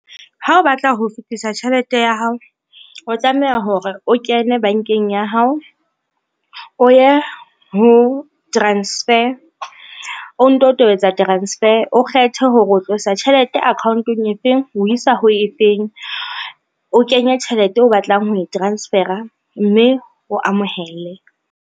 Ha o batla ho fetisa tjhelete ya hao, o tlameha hore o kene bankeng ya hao o ye ho transfer, o nto tobetsa transfer, o kgethe hore o tlosa tjhelete account-ong e feng o isa ho e feng, o kenye tjhelete o batlang ho e transfer-a, mme o amohele.